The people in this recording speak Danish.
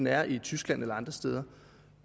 er i tyskland eller andre steder